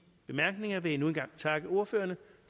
bemærkninger vil jeg endnu en gang takke ordførerne